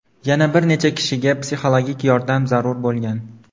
Yana bir necha kishiga psixologik yordam zarur bo‘lgan.